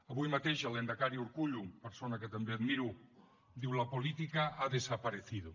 avui mateix el lehendakari urkullu persona que també admiro diu la política ha desaparecido